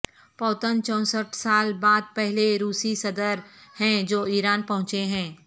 Putin چونسٹھ سال بعد پہلے روسی صدر ہیں جو ایران پہنچے ہیں